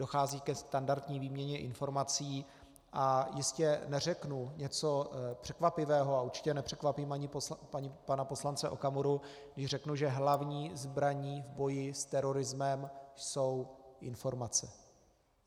Dochází ke standardní výměně informací, a jistě neřeknu něco překvapivého a určitě nepřekvapím ani pana poslance Okamuru, když řeknu, že hlavní zbraní v boji s terorismem jsou informace.